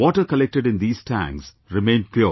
Water collected in these tanks remained pure